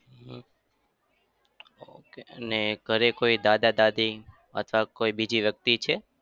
હમ okay અને ઘરે કોઈ દાદા-દાદી અથવા કોઈ બીજી વ્યક્તિ છે?